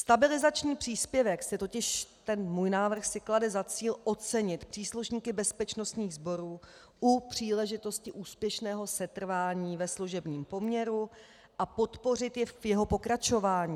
Stabilizační příspěvek se totiž - ten můj návrh si klade za cíl ocenit příslušníky bezpečnostních sborů u příležitosti úspěšného setrvání ve služebním poměru a podpořit je v jeho pokračování.